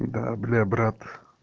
да для брат